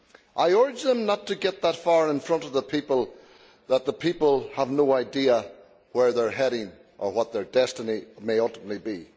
I urge them not to get so far in front of the people that the people have no idea where they are heading or what their destiny may ultimately be.